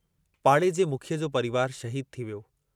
पाड़े जे मुखीअ जो परिवारु शहीदु थी वियो।